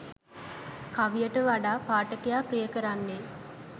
කවියට වඩා පාඨකයා ප්‍රිය කරන්නේ